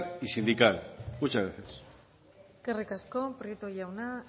y sindical muchas gracias eskerrik asko prieto jauna